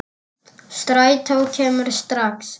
Strætó kemur ekki strax.